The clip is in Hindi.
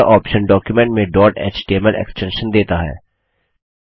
यह ऑप्शन डॉक्युमेंट में डॉट एचटीएमएल एक्स्टेंशन देता है